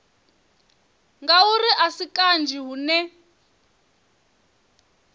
ngauri a si kanzhi hune